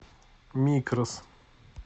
микрос